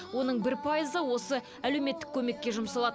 оның бір пайызы осы әлеуметтік көмекке жұмсалады